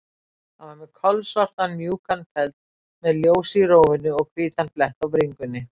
Hann var með kolsvartan, mjúkan feld, með ljós í rófunni og hvítan blett á bringunni.